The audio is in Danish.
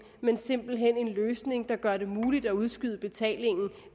men simpelt hen en løsning der gør det muligt at udskyde betalingen